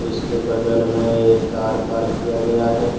उसके बगल मे एक कार पार्क किया गया है।